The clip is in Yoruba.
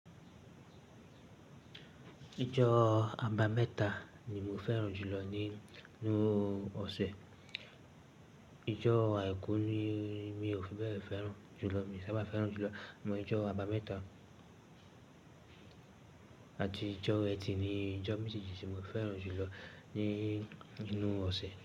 Ijọ́ àbámẹ́ta ni mo fẹ́ràn jùlọ ni, nínú ọ̀sẹ̀. Ijọ́ àìkú ni mi ò fi bẹ́ẹ̀ fẹ́ràn jùlọ, mi ò sábà fẹ́ràn jùlọ. Ṣùgbọ́n ijọ́ àbámẹ́ta àti ijọ́ etí ni ijọ́ méjejì tí mo fẹ́ràn jùlọ nínú ọ̀sẹ̀.